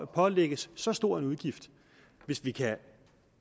pålægges så stor en udgift hvis vi kan